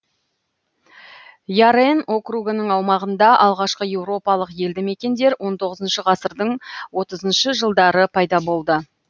ярен округының аумағында алғашқы еуропалық елді мекендер он тоғызыншы ғасырдың отызыншы жылдары пайда болды